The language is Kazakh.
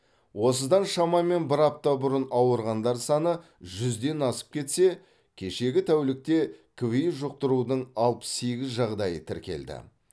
осыдан шамамен бір апта бұрын ауырғандар саны жүзден асып кетсе кешегі тәулікте кви жұқтырудың алпыс сегіз жағдайы тіркелді